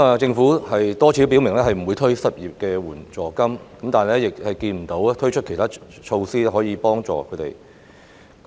政府多次表明不會推出失業援助金，但亦沒有推出其他措施協助失業人士。